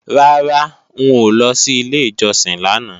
Rárá, n ò lọ sí ilé ìjọsìn lánàá